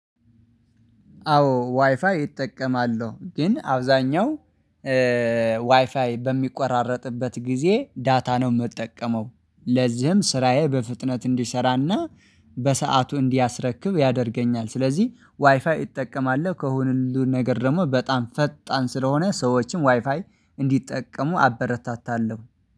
አዎ ዋይፋይ እጠቀማለሁ ግን አብዛኛው ዋይፋይ በሚቆራረጥበት ጊዜ ዳታ ነው የምጠቀመው። ለዚህም ስራዬ በፍጥነት እንዲሰራና በሰአቱ እንዲያስረክብ ያደርገኛል። ስለዚህ ዋይፋይ እጠቀማለሁ ከሁሉ ነገር ደግሞ በጣም ፈጣን ስለሆነ ሰዎችም ዋይፋይ እንዲጠቀሙ አበረታታለሁ